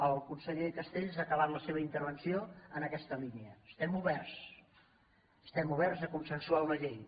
el conseller castells ha acabat la seva intervenció en aquesta línia estem oberts estem oberts a consensuar una llei